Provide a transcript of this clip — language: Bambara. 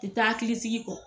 ti taa hakili sigi kɔ.